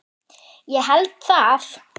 Ég held það